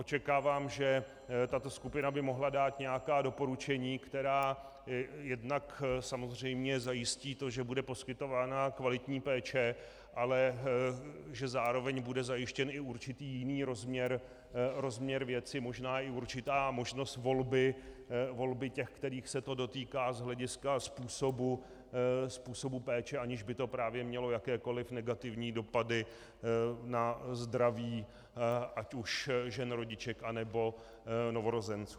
Očekávám, že tato skupina by mohla dát nějaká doporučení, která jednak samozřejmě zajistí to, že bude poskytována kvalitní péče, ale že zároveň bude zajištěn i určitý jiný rozměr věci, možná i určitá možnost volby těch, kterých se to dotýká, z hlediska způsobu péče, aniž by to právě mělo jakékoliv negativní dopady na zdraví ať už žen rodiček, anebo novorozenců.